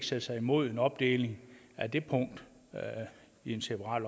sætte sig imod en opdeling af det punkt i et separat